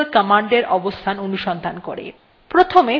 প্রথমে path variable এর মান দেখে নেওয়া যাক